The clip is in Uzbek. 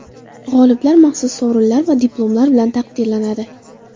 G‘oliblar maxsus sovrinlar va diplomlar bilan taqdirlanadi.